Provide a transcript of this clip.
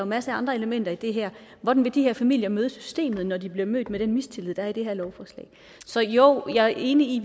masse andre elementer i det her hvordan vil de her familier møde systemet når de bliver mødt med den mistillid der er i det her lovforslag så jo jeg er enig i